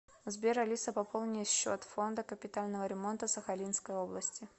сбер алиса пополни счет фонда капитального ремонта сахалинской области